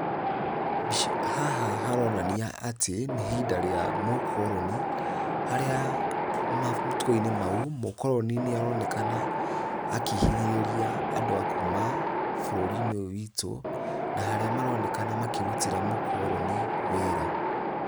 Haha haronania atĩ nĩ ihinda rĩa mūkoroni , harĩa matukūinĩ mau mūkoroni nĩaronekana akĩhinyĩrĩria andū a kuuma būrūri-inĩ ūyū witū na harĩa maronekana makĩrutĩra mūkoroni wĩra.